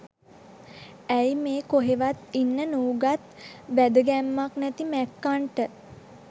ඇයි මේ කොහෙවත් ඉන්න නූගත් වැදගැම්මක් නැති මැක්කන්ට